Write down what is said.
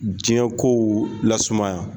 Diɲɛ kow lasumaya.